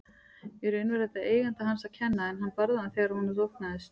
Í raun var þetta eiganda hans að kenna en hann barði hann þegar honum þóknaðist.